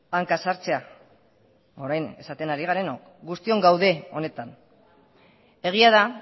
hanka sartzea orain esaten ari garenok guztiok gaude honetan egia da